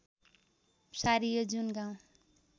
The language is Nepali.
सारियो जुन गाउँ